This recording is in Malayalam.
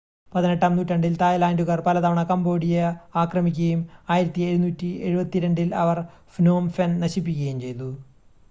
18-ആം നൂറ്റാണ്ടിൽ തായ്‌ലാൻഡുകാർ പലതവണ കംബോഡിയ ആക്രമിക്കുകയും 1772-ൽ അവർ ഫ്നോം ഫെൻ നശിപ്പിക്കുകയും ചെയ്തു